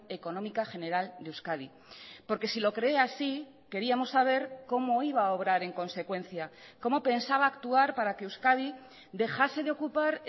económica general de euskadi porque si lo cree así queríamos saber cómo iba a obrar en consecuencia cómo pensaba actuar para que euskadi dejase de ocupar